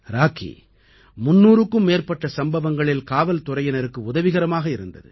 ராக்கி 300க்கும் மேற்பட்ட சம்பவங்களில் காவல்துறையினருக்கு உதவிகரமாக இருந்தது